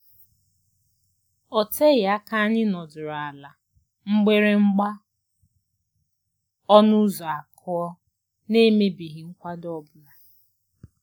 O teghị aka anyị nọdụrụ ala mgbịrị mgba ọnụ ụzọ akụọ, n'emebeghị nkwado ọ bụla.